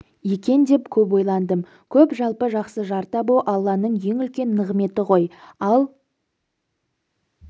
екен деп көп ойландым көп жалпы жақсы жар табу алланың ең үлкен нығметі ғой ал